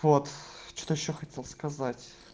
вот что-то ещё хотел сказать